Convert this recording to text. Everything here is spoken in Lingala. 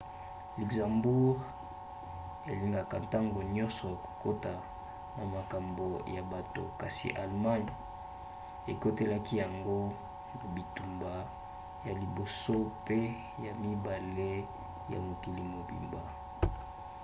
luxembourg elingaka ntango nyonso kokota te na makambo ya bato kasi allemagne ekotelaki yango na bitumba ya liboso mpe ya mibale ya mokili mobimba